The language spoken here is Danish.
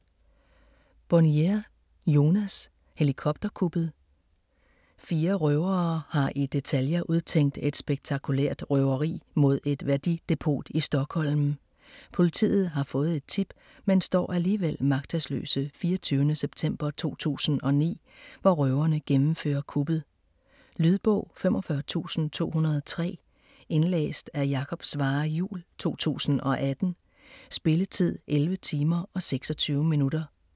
Bonnier, Jonas: Helikopterkuppet Fire røvere har i detaljer udtænkt et spektakulært røveri mod et værdidepot i Stockholm. Politiet har fået et tip, men står alligevel magtesløse 24. september 2009, hvor røverne gennemfører kuppet. Lydbog 45203 Indlæst af Jakob Svarre Juhl, 2018. Spilletid: 11 timer, 26 minutter.